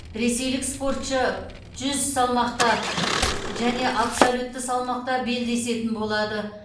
ресейлік спортшы жүз салмақта және абсолютті салмақта белдесетін болады